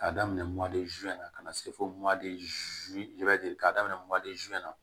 K'a daminɛ na ka na se fo k'a daminɛ na